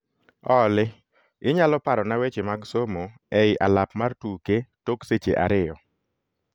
Olly, inyalo parona weche mag somo ei alap mar tuke tok seche ariyo